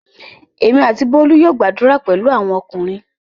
Èmi àti Bólú yóò gbadura pẹ̀lú àwọn ọkùnrin.